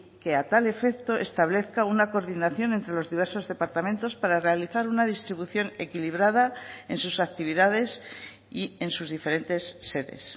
que a tal efecto establezca una coordinación entre los diversos departamentos para realizar una distribución equilibrada en sus actividades y en sus diferentes sedes